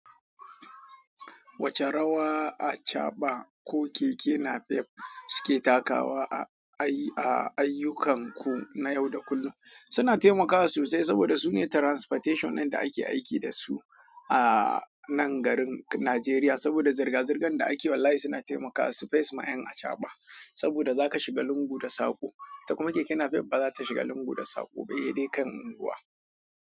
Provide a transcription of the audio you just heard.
Wace rawa achaɓa ko keke napep suke takawa a ayyukan ku na yau da kullum? Suna taimakawa sosai saboda sune transportation in da ake aiki da su aa nan garin Nigeria saboda zirga-zirgan da ake wallahi suna taimakawa su face ma 'yan achaɓa. Saboda zaka shiga lungu da sako, ita kuma keke napep ba zata shiga lungu da sako ba sai de kan ruwa.